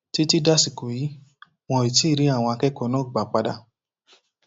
títí dàsìkò yìí wọn ò tí ì rí àwọn akẹkọọ náà gbà padà